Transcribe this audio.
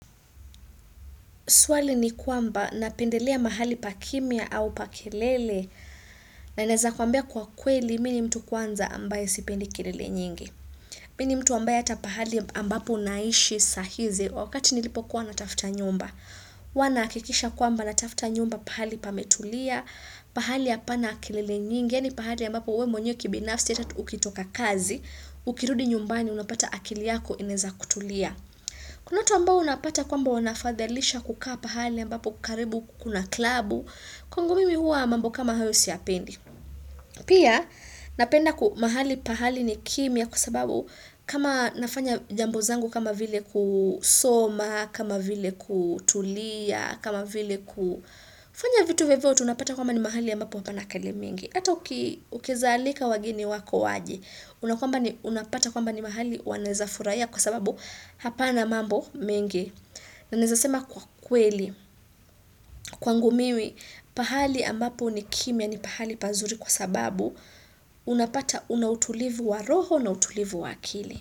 Swali ni kwamba napendelea mahali pa kimia au pa kelele? Na naeza kwambia kwa kweli mi ni mtu kwanza ambaye sipendi kelele nyingi. Mimi ni mtu ambaye ata pahali ambapo naishi sahizi wakati nilipokuwa natafuta nyumba. Huwa nahakikisha kwamba natafuta nyumba pahali pametulia, pahali hapana kelele nyingi, yaani pahali ambapo wewe mwenyewe kibinafsi ata ukitoka kazi, ukirudi nyumbani, unapata akili yako inaeza kutulia. Kuna watu ambao unapata kwamba wanafadhalisha kukaa pahali ambapo karibu kuna klabu, kwangu mimi huwa mambo kama hayo siyapendi. Pia napenda mahali pahali ni kimya kwa sababu kama nafanya jambo zangu kama vile kusoma, kama vile kutulia, kama vile kufanya vitu vyovyote unapata kwamba ni mahali ambapo hapana kelele mingi. Ata ukieza alika wageni wako waje, unapata kwamba ni mahali wanaeza furahia kwa sababu hapana mambo mengi. Na naezasema kwa kweli, kwangu mimi, pahali ambapo nikimia ni pahali pazuri kwa sababu, unapata una utulivu wa roho na utulivu wa akili.